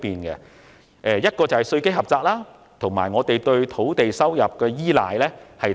其一，本港稅基狹窄；其二，過度依賴土地收入。